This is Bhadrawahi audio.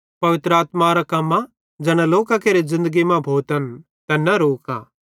पवित्र आत्मारे कम्मन ज़ैना लोकां केरे ज़िन्दगी मां भोतन तैन न रोका